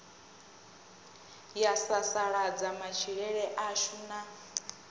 ya sasaladza matshilele ashu na